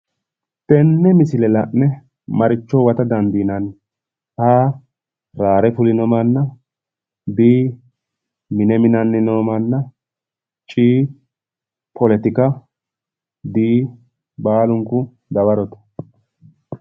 Tenne misile la'ne maricho huwata dandiineemmo? A/raare fulino manna B/mine minanni no manna C/politika D/baalunku dawarote